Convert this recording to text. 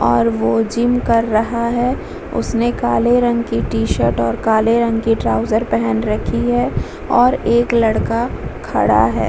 और वो जिम कर रहा है उसने काले रंग के टी-शर्ट और काले रंग के ट्रॉउज़र पहन रखी है और एक लड़का खड़ा है।